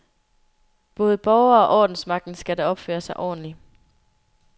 Både borgere og ordensmagten skal da opføre sig ordentligt.